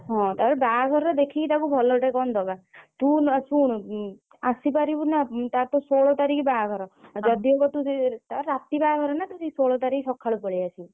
ହଁ ତାପରେ ବାହାଘର ରେ ଦେଖିକି ତାକୁ ଭଲ ଟେ କଣ ଦବା ତୁ ନା ଶୁଣୁ ଆସିପାରିବୁ ନା ତାର ତ ଷୋହଳ ତାରିଖ ବାହାଘର ଯଦି ହବ ତୁ ତାର ରାତି ବାହାଘର ଷୋହଳ ତାରିଖ ସକାଳୁ ପଳେଇ ଆସିବୁ।